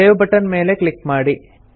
save button ಮೇಲೆ click ಮಾಡಿ